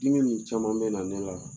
Dimi nin caman bɛ na ne la